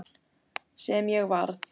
Sem ég varð.